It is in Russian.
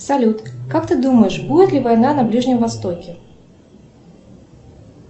салют как ты думаешь будет ли война на ближнем востоке